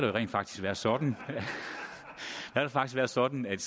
rent faktisk været sådan at sådan at